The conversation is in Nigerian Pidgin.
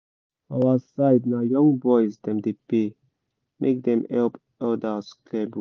for our side na young boys dem dey pay make dem help elders clear bush